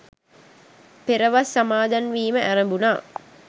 පෙරවස් සමාදන්වීම ඇරඹුණා.